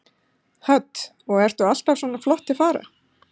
Hödd: Og ertu alltaf svona flott til fara?